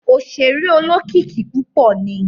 Oṣere olókìkí púpọ ni